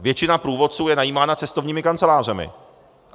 Většina průvodců je najímána cestovními kancelářemi.